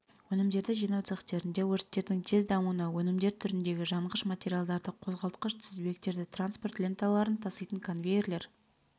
өнімдерді жинау цехтерінде өрттердің тез дамуына өнімдер түріндегі жанғыш материалдарды қозғалтқыш тізбектерді транспорт ленталарын таситын конвейерлер